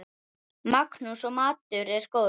Magnús: Og maturinn góður?